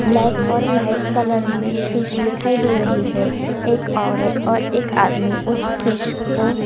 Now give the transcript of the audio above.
black और white colour में fish दिखाई दे रही है एक औरत और एक आदमी उस फिश को --